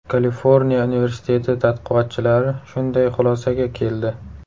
Kaliforniya universiteti tadqiqotchilari shunday xulosaga keldi.